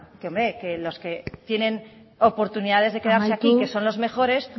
que los que tienen oportunidades de quedarse aquí amaitu garrido anderea que son los mejores